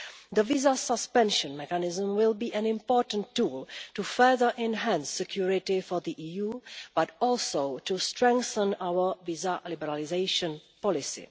The visa suspension mechanism will be an important tool to further enhance security for the EU but also to strengthen our visa liberalisation policy.